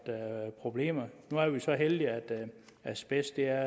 problemer nu er det så heldigt at asbest er